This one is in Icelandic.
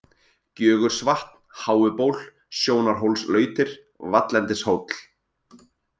Gjögursvatn, Háuból, Sjónarhólslautir, Vallendishóll